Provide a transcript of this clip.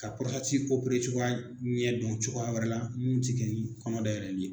Ka cogoya ɲɛ dɔn cogoya wɛrɛ la minnu tɛ kɛ ni kɔnɔ dayɛlɛli ye